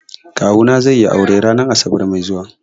Kawuna zai yi aure ranar asabar mai zuwa.